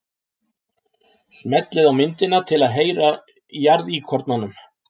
Smellið á myndina til að heyra í jarðíkornanum.